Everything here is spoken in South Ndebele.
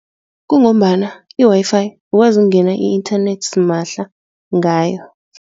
Kungombana i-Wi-Fi ukwazi ungena i-internet simahla ngayo.